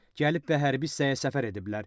Gəlib və hərbi hissəyə səfər ediblər.